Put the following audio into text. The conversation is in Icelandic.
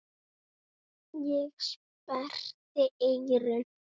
Ég sperrti eyrun.